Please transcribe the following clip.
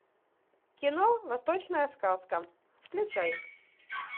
кино восточная сказка включай